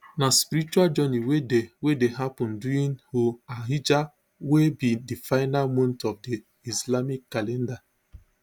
na spiritual journey wey dey wey dey happun during dhu alhijja wey be di final month of di islamic calendar